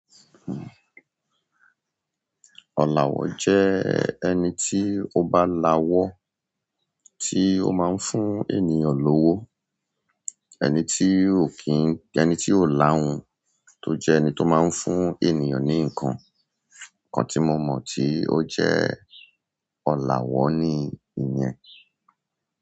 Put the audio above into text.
Ọlawọ jẹ ẹni tí ó bá lawọ́, tí ó máa ń fún ènìyàn lówó. Ẹni tí ó kíì. Ẹni tí ó làhun tó jẹ́ ẹni tó máa ń fún ènìyàn ní ǹkan. Ǹkan tí mo mọ̀ tí ó jẹ́ ọlawọ ni ìyẹn.